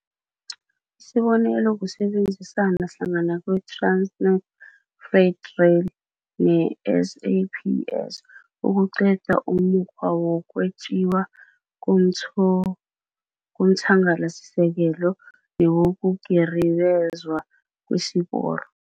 Isibonelo kusebenzisana hlangana kweTransnet Freight Rail ne-SAPS ukuqeda umukghwa wokwetjiwa komthangalasisekelo newokugiribezwa kwesiporo.